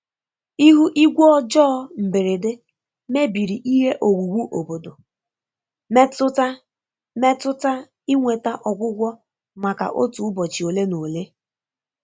Ihu igwe ọjọọ mberede mebiri ihe owuwu obodo, metụta metụta inweta ọgwụgwọ maka otu ụbọchị ole na ole.